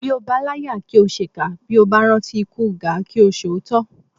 Bí o bá láyà ò ṣèkà bí o bá rántí ikú Gáà kí o sòótọ́